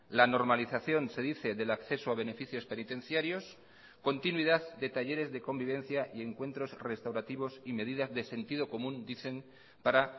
la normalización se dice del acceso a beneficios penitenciarios continuidad de talleres de convivencia y encuentros restaurativos y medidas de sentido común dicen para